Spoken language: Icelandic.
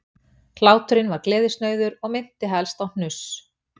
Hláturinn var gleðisnauður og minnti helst á hnuss